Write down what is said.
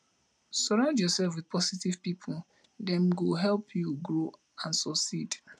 surround yourself with positive pipo dem go help you grow and succeed